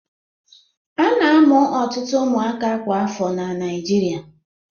A na-amụ ọtụtụ ụmụaka kwa afọ na Naịjirịa.